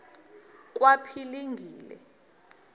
kwaphilingile